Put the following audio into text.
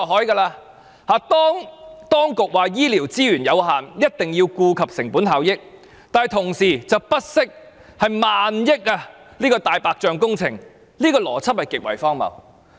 政府說醫療資源有限，一定要顧及成本效益，但同時卻不惜建造萬億元的"大白象"工程，這個邏輯極為荒謬。